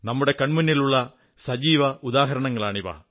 നമ്മുടെ കൺമുന്നിലുള്ള സജീവ ഉദാഹരണങ്ങളാണിവ